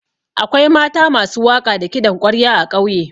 Akwai mata masu waƙa da kiɗan ƙwarya a ƙauye.